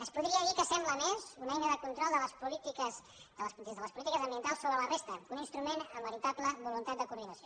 es podria dir que sembla més una eina de control des de les polítiques ambientals sobre la resta que un instrument amb veritable voluntat de coordinació